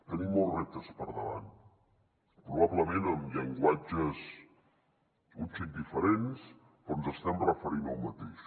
tenim molts reptes per davant probablement amb llenguatges un xic diferents però ens estem referint al mateix